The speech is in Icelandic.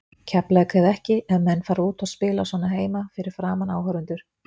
Keflavík eða ekki, ef menn fara út og spila svona heima fyrir framan áhorfendur.